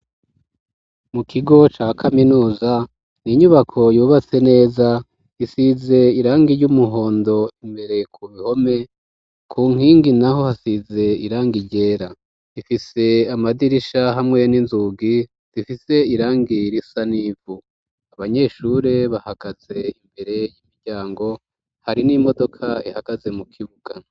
Mu kigo ca kaminuza ni inyubako yubatse neza isize irangi ry'umuhondo imbere ku bihome ku nkingi naho hasize irangi ryera ifise amadirisha hamwe n'inzugi zifise irangi risa n'ivu abanyeshure bahagaze imbere y'imiryango hari n'imodoka ihagaze mu kibuga.